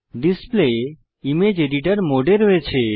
display image editor মোডে রয়েছে